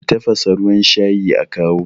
ki tafasa ruwan shayi a kawo?